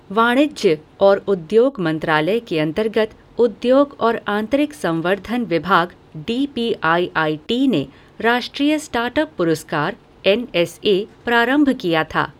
वाणिज्य और उद्योग मंत्रालय के अंतर्गत उद्योग और आंतरिक संवर्धन विभाग D P I I T ने राष्ट्रीय स्टार्ट अप पुरस्कार एन एस ए प्रारंभ किया था।